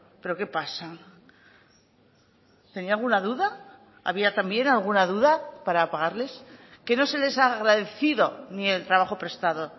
pero qué pasa tenía alguna duda había también alguna duda para pagarles que no se les ha agradecido ni el trabajo prestado